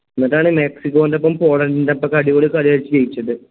എന്നിട്ടാണ് മെക്സിക്കോൻറെപ്പം പോളണ്ടിൻറെപ്പക്കെ അടിപൊളി കളി കളിച്ചു ജയിച്ചത്